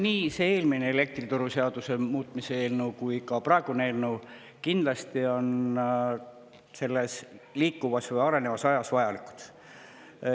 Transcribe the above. Nii eelmine elektrituruseaduse muutmise eelnõu kui ka praegune eelnõu kindlasti on liikuvas või arenevas ajas vajalikud.